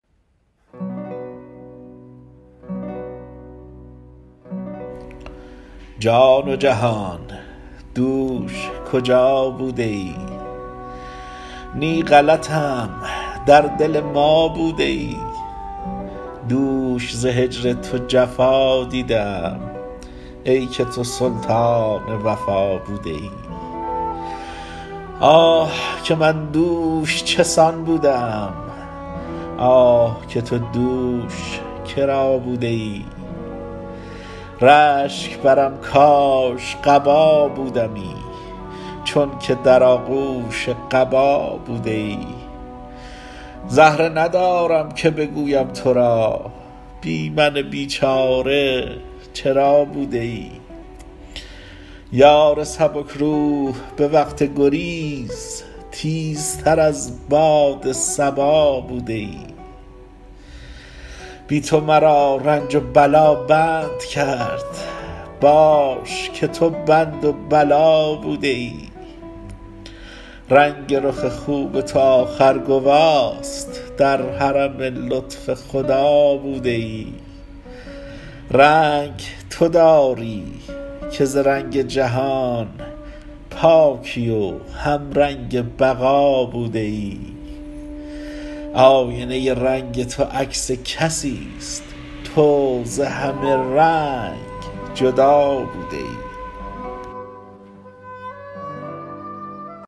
جان و جهان دوش کجا بوده ای نی غلطم در دل ما بوده ای دوش ز هجر تو جفا دیده ام ای که تو سلطان وفا بوده ای آه که من دوش چه سان بوده ام آه که تو دوش کرا بوده ای رشک برم کاش قبا بودمی چونک در آغوش قبا بوده ای زهره ندارم که بگویم ترا بی من بیچاره چرا بوده ای یار سبک روح به وقت گریز تیزتر از باد صبا بوده ای بی تو مرا رنج و بلا بند کرد باش که تو بند بلا بوده ای رنگ رخ خوب تو آخر گواست در حرم لطف خدا بوده ای رنگ تو داری که ز رنگ جهان پاکی و همرنگ بقا بوده ای آینه ای رنگ تو عکس کسیست تو ز همه رنگ جدا بوده ای